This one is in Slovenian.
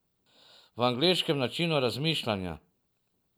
V angleškem načinu razmišljanja.